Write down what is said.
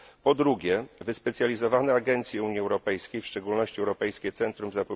Po drugie, wyspecjalizowane agencje Unii Europejskiej, w szczególności Europejskie Centrum ds.